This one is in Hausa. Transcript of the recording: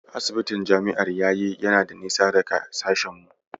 Asibitin Jami'ar yayi yana da nisa daga sashen mu.